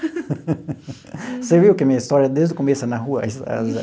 Você viu que a minha história desde o começo é na rua?